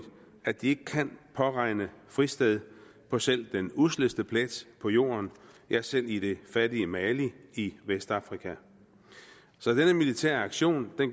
at de ikke kan påregne fristed på selv den usleste plet på jorden ja selv i det fattige mali i vestafrika så denne militære aktion